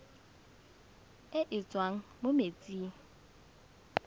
e e tswang mo metsing